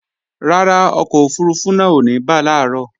Rárá, ọkọ̀ òfurufú náà ò ní bà làárọ̀